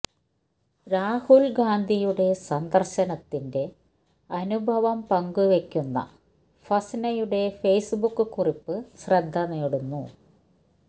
രാഹുൽ ഗാന്ധിയുടെ സന്ദർശനത്തിന്റെ അനുഭവം പങ്ക് വെയ്ക്കുന്ന ഫസ്നയുടെ ഫേസ്ബുക്ക് കുറിപ്പ് ശ്രദ്ധ നേടുന്നു